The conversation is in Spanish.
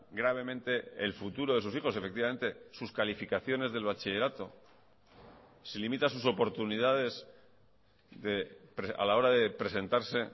gravemente el futuro de sus hijos efectivamente sus calificaciones del bachillerato se limita sus oportunidades a la hora de presentarse